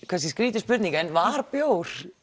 kannski skrýtin spurning en var bjór